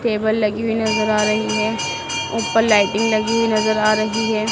Table लगी हुई नजर आ रही है ऊपर लाइटिंग लगी हुई नजर आ रही है।